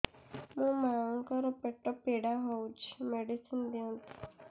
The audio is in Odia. ମୋ ମାଆଙ୍କର ପେଟ ପୀଡା ହଉଛି ମେଡିସିନ ଦିଅନ୍ତୁ